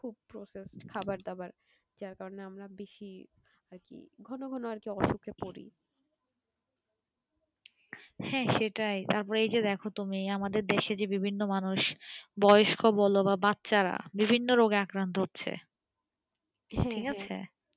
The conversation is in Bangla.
হ্যাঁ সেটাই তারপর এই যে দেখো তুমি আমাদের দেশের যে বিভিন্ন মানুষ বয়স্ক বোলো বা বচ্চা রা বিভিন্ন রোগে আক্রান্তঃ হচ্ছে